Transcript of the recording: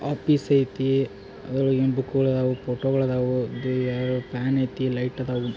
Office ಐತಿ ಅದೃಒಳಗ ಬುಕ್ಗುಳದಾವ್ ಫೋಟೋಗುಳದಾವ್ ದಿ ಯಾರೋ ಫ್ಯಾನ್ ಐತಿ ಲೈಟ್ ಅದಾವು.